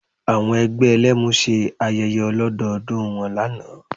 Àwọn ẹgbẹ́ Ẹlẹ́mu ṣe ayẹyẹ ọlọ́dọọdún wọn lánàá